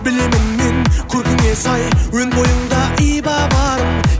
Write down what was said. білемін мен көркіңе сай өн бойыңда иба барын